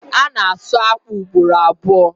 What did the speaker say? A na-asu akpụ ugboro abụo.